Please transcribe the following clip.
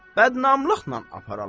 Bədnamlıqla aparalar?